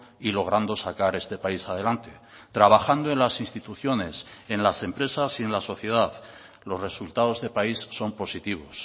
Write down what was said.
y logrando sacar este país adelante trabajando en las instituciones en las empresas y en la sociedad los resultados de país son positivos